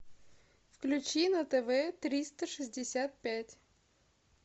включи на тв триста шестьдесят пять